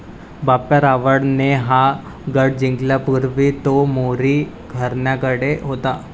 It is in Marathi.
बाप्पा रावळ ने हा गढ जिंकण्यापूर्वी तो मोरी घरण्याकडे होता.